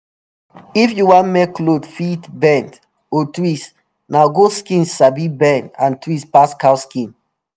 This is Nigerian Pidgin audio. if you want make cloth fit bend or twist na goat skin sabi bend and twist pass cow skin